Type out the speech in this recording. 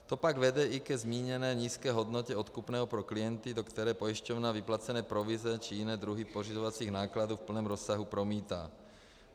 To pak vede i ke zmíněné nízké hodnotě odkupného pro klienty, do které pojišťovna vyplacené provize či jiné druhy pořizovacích nákladů v plném rozsahu promítá.